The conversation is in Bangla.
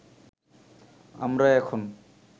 আমরা এখন